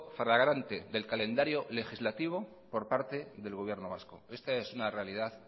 flagrante del calendario legislativo por parte del gobierno vasco esta es una realidad